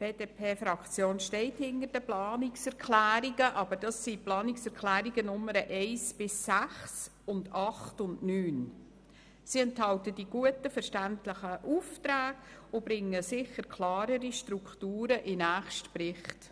die BDP-Fraktion stehe hinter den Planungserklärungen 1 bis 6 sowie 8 und 9. Sie enthalten gute und verständliche Aufträge und bringen sicher klarere Strukturen in den nächsten Bericht.